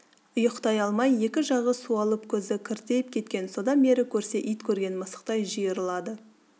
ұйықтай алмай екі жағы суалып көзі кіртиіп кеткен содан бері көрсе ит көрген мысықтай жиырылады